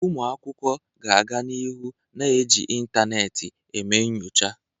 Ụmụ akwụkwọ ga-aga n'ihu na-eji ịntanetị na eme nyocha.